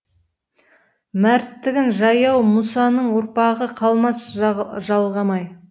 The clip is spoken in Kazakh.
мәрттігін жаяу мұсаның ұрпағы қалмас жалғамай